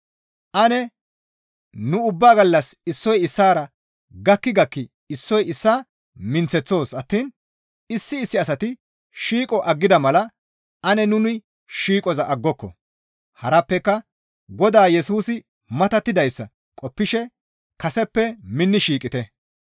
Ane nu ubba gallas issoy issaara gakki gakki issoy issaa minththeththoos attiin issi issi asati shiiqo aggida mala ane nuni shiiqoza aggoko; harappeka Godaa Yesusi matattidayssa qoppishe kaseppe minni shiiqite.